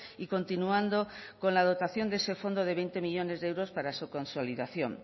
y continuando con la dotación de ese fondo de veinte millónes de euros para su consolidación